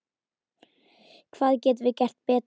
Hvað getum við gert betur?